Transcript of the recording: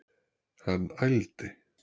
Hann ældi.